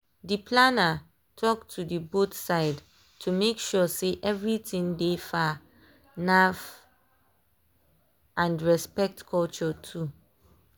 dey planner talk to the both side to make sure sey everything dey far naf and respect culture too.